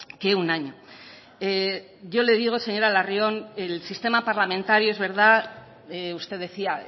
que un año yo le digo señora larrión el sistema parlamentario es verdad usted decía